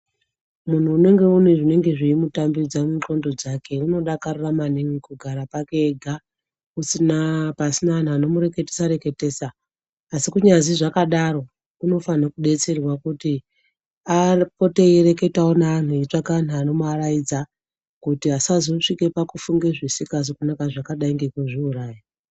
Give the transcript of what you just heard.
Munhu unenge une zveimutambidza mundxondo dzake unodakarora maningi kugara pake ega usina pasina anhu anomureketesa reketesa, asi kunyazwi zvakadaro unofanire kudetserwa kuti apote eireketawo neanhu eitsvaka anhu anomuaraidza kuti asazosvike pakufunga zvisingazi kunaka zvakadai nekuzviuraya.